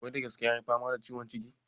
Wai da gaske ya yi fama da ciwon ciki?